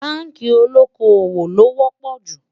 bánkì olókó owó ló wò pò jù